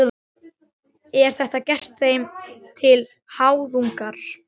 Er þetta gert þeim til háðungar?